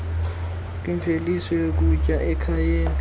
kwimveliso yokutya ekhayeni